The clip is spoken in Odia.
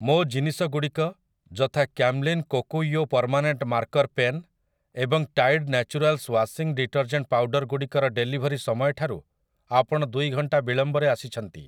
ମୋ ଜିନିଷଗୁଡ଼ିକ ଯଥା Camlin Kokuyo permanent marker pen ଏବଂ Tide naturals washing detergent powder ଗୁଡ଼ିକର ଡେଲିଭରି ସମୟଠାରୁ ଆପଣ ଦୁଇ ଘଣ୍ଟା ବିଳମ୍ବରେ ଆସିଛନ୍ତି ।